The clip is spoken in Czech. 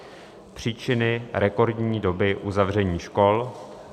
příčiny rekordní doby uzavření škol,